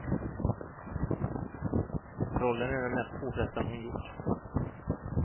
Rollen är den mest påfrestande hon gjort.